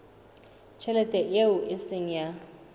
tjhelete eo e seng ya